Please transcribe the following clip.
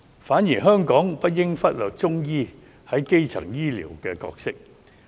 同時，香港不應忽略中醫在基層醫療的角色。